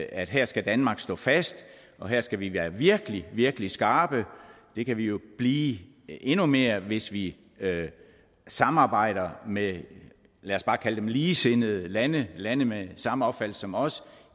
at her skal danmark stå fast og her skal vi være virkelig virkelig skarpe det kan vi jo blive endnu mere hvis vi samarbejder med lad os bare kalde dem ligesindede lande lande med samme opfattelse som os